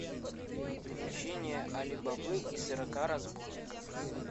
приключения али бабы и сорока разбойников